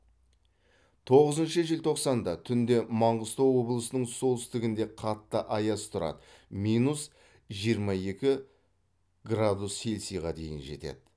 тоғызыншы желтоқсанда түнде маңғыстау облысының солтүстігінде қатты аяз тұрады минус жиырма екі градус цельсияға дейін жетеді